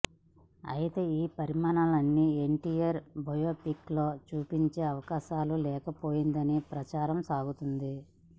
అయితే ఈ పరిణామాలన్నీ ఎన్టీఆర్ బయోపిక్ లో చూపించే అవకాశాలు లేకపోలేదనే ప్రచారం సాగుతోంది